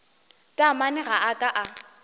taamane ga a ka a